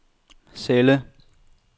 celle